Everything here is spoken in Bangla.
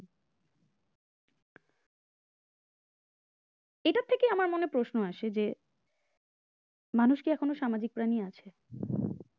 মনে প্রশ্ন আসে যে মানুষকে এখনো সামাজিক প্রাণী আছে?